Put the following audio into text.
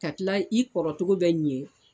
Ka tila i kɔrɔcogo bɛ ɲɛ